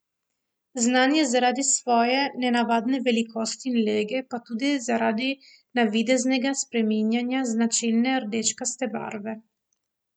Znan je zaradi svoje nenavadne velikosti in lege, pa tudi zaradi navideznega spreminjanja značilne rdečkaste barve.